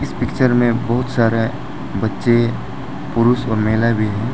इस पिक्चर में बहुत बच्चे पुरुष और महिला भी हैं।